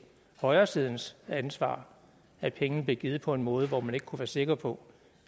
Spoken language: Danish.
højresidens ansvar at pengene blev givet på en måde hvor man ikke kunne være sikker på